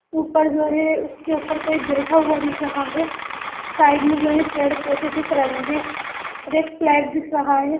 ऊपर जो है उसके ऊपर कोई बैठा हुआ दिख रहा है साइड में एक पेड़-पौधे दिख रहे है रेड फ्लैग दिख रहा है।